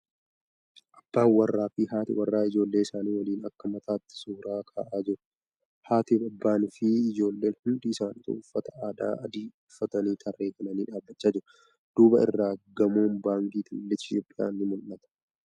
Abban warraa fi haati warraa ijoollee isaanii waliin akka maatiitti suura ka'aa jiru. Haatii, abbaan fi ijoolleen hundi isaanituu uffata aadaa adii uffatanii tarree galanii dhaabbachaa jiru. Duuba irratti gamoon Baankii Daldala Itiyoophiyaa ni mul'ata.